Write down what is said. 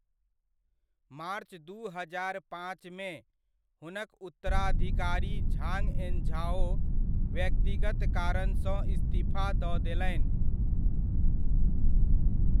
मार्च दू हजार पाँचमे, हुनक उत्तराधिकारी झांग एन्झाओ व्यक्तिगत कारणसँ इस्तीफा दऽ देलनि ।